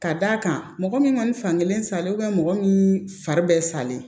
Ka d'a kan mɔgɔ min kɔni fan kelen salen mɔgɔ min fari bɛ salen